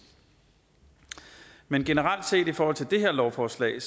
men generelt set i forhold til det her lovforslag